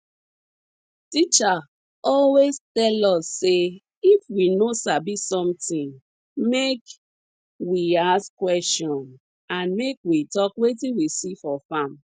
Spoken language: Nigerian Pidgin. teacher always tell us say if we no sabi something make we ask question and make we talk wetin we see for farm